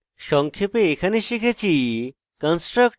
সংক্ষেপে এখানে শিখেছি